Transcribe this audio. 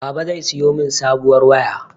Baba zai siyo mun sabuwar waya.